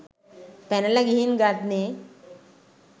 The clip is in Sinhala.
පැනල ගිහින් ගන්නේ